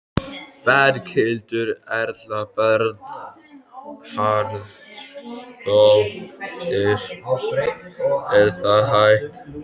Berghildur Erla Bernharðsdóttir: Er það hægt?